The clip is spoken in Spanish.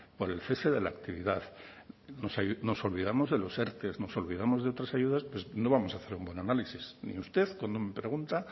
por el cese de la actividad nos olvidamos de los erte nos olvidamos de otras ayudas pues no vamos a hacer un buen análisis ni usted cuando me pregunta